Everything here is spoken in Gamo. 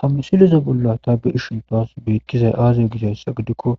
hamusileza bolla tabi ishintowas beikkizay aazo gizayssa gidikko